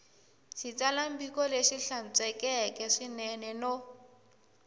xitsalwambiko lexi hlantswekeke swinene no